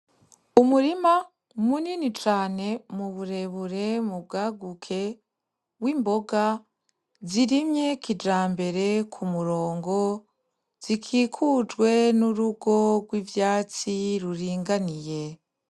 Umurima munini cane mu burebure mubwaguke w'imboga zirimye kijambere ku murongo zikikujwe n'urugo rw'ivyatsi ruringaniye.